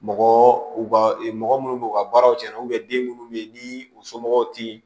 Mɔgɔ mɔgɔ munnu b'u ka baaraw cɛ den munnu be yen ni u somɔgɔw ti